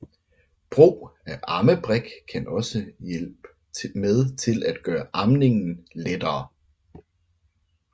Brug af ammebrik kan også hjælp med til at gøre amningen lettere